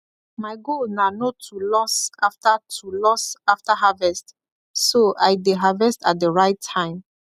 my goal na no to loss after to loss after harvest so i dey harvest at the right time